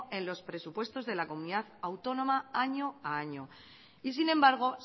en los presupuestos de la comunidad autónoma año a año y sin embargo